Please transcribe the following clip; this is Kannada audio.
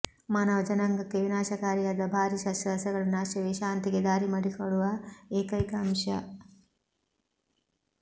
ಮಾನವ ಜನಾಂಗಕ್ಕೆ ವಿನಾಶಕಾರಿಯಾದ ಭಾರಿ ಶಸ್ತ್ರಾಸ್ತ್ರಗಳ ನಾಶವೇ ಶಾಂತಿಗೆ ದಾರಿ ಮಾಡಿಕೊಡುವ ಏಕೈಕ ಅಂಶ